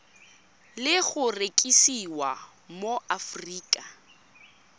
le go rekisiwa mo aforika